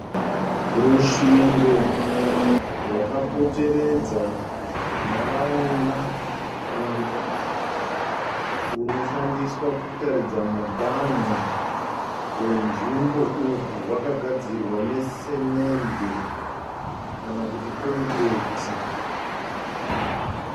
Rusvingo rwakapoteredza nharaunda kana kutí runoshandiswa kutaridza muganhu wenzvimbo. Urwu rwakagadzirwa nesimende kana kuti kongireti.